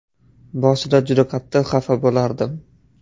Boshida juda qattiq xafa bo‘lardim.